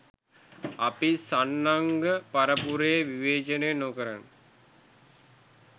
අපි සන්න්ඝ පරපුර විවේචනය නොකර